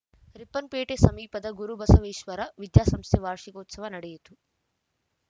ರಿಪ್ಪನ್‌ಪೇಟೆ ಸಮೀಪದ ಗುರುಬಸವೇಶ್ವರ ವಿದ್ಯಾಸಂಸ್ಥೆಯ ವಾರ್ಷೀಕೋತ್ಸವ ನಡೆಯಿತು